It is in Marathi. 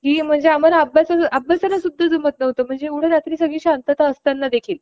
कि म्हणजे आम्हाला अभ्यासाला देखील जमत नव्हते एवढी शांतता असताना देखील